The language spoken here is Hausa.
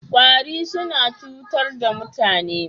Ƙwari suna cutar da mutane.